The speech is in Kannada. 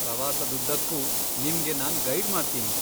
ಪ್ರವಾಸದುದ್ದಕ್ಕೂ ನಿಮ್ಗೆ ನಾನ್ ಗೈಡ್ ಮಾಡ್ತೀನಿ.